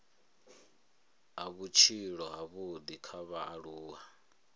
a vhutshilo havhudi kha vhaaluwa